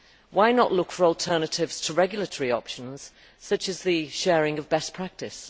Why not look for alternatives to regulatory options, such as the sharing of best practice?